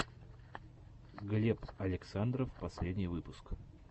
глеб александров последний выпуск